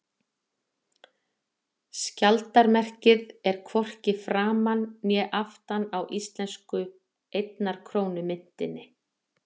Skjaldarmerkið er hvorki framan á né aftan á íslensku einnar krónu myntinni.